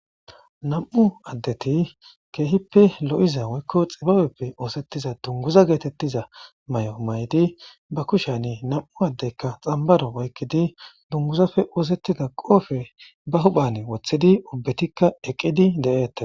nam7u addeti keehippe lo7iza woykko xibaweppe oosettiza dunguza geetettiza may7o maydi ba kushani nam7u addeykka xambaro woykkidi dunguzafe oosettida qoofe ba huphan wothidi ubbetikka eqqidi de7eette.